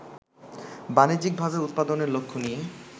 বাণিজ্যিকভাবে উৎপাদনের লক্ষ্য নিয়ে